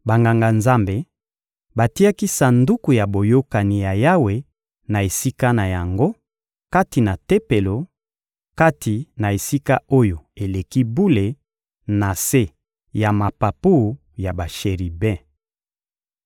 Banganga-Nzambe batiaki Sanduku ya Boyokani ya Yawe na esika na yango, kati na Tempelo, kati na Esika-Oyo-Eleki-Bule, na se ya mapapu ya basheribe.